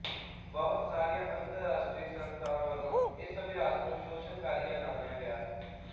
ਬਹੁਤ ਸਾਰੀਆਂ ਅੰਤਰਰਾਸ਼ਟਰੀ ਸੰਸਥਾਵਾਂ ਵੱਲੋਂ ਇਸ ਅਭਿਆਸ ਨੂੰ ਸ਼ੋਸ਼ਣਕਾਰੀ ਐਲਾਣਿਆ ਗਿਆ ਹੈ